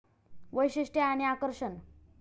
वैशिष्ट्ये आणि आकर्षण